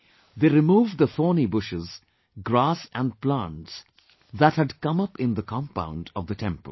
They removed the thorny bushes, grass and plants that had come up in the compound of the temple